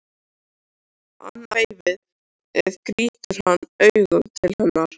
Annað veifið gýtur hann augunum til hennar.